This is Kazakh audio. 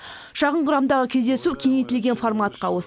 шағын құрамдағы кездесу кеңейтілген форматқа ауыс